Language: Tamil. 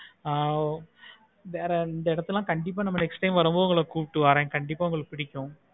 ஆஹ் வேற அந்த இடத்துல கண்டிப்பா next time வரம் போது கூப்பிட்டு வரேன் கண்டிப்பா உங்களுக்கு பிடிக்கும்.